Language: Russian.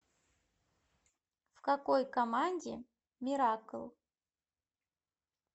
в какой команде миракл